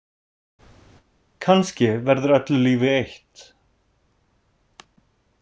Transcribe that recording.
Kannski verður öllu lífi eytt.